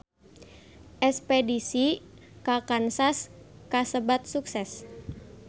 Espedisi ka Kansas kasebat sukses